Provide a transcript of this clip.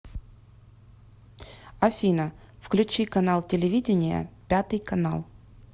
афина включи канал телевидения пятый канал